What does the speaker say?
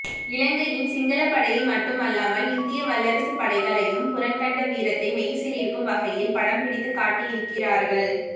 இலங்கையின் சிங்களப் படையை மட்டுமல்லாமல் இந்திய வல்லரசுப் படைகளையும் புறங்கண்ட வீரத்தை மெய்சிலிர்க்கும் வகையில் படம் பிடித்துக்காட்டியிருக்கிறீர்கள்